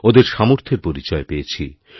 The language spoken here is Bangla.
ওঁদের সামর্থের পরিচয় পেয়েছি